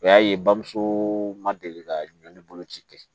O y'a ye bamuso ma deli ka ɲɔn bolo ci kɛ